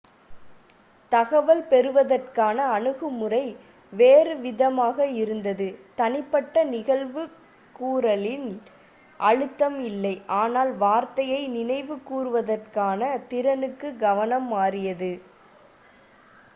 தகவல் பெறுவதற்கான அணுகுமுறை வேறுவிதமாக இருந்தது தனிப்பட்ட நினைவுகூறலில் அழுத்தம் இல்லை ஆனால் வார்த்தையை நினைவுகூறுவதற்கான திறனுக்கு கவனம் மாறியது